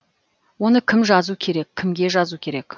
оны кім жазу керек кімге жазу керек